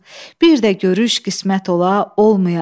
Bir də görüş qismət ola olmaya.